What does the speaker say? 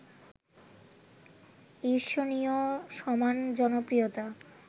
ঈর্ষণীয় সমান জনপ্রিয়তা